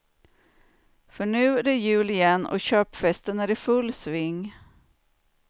För nu är det jul igen och köpfesten är i full sving.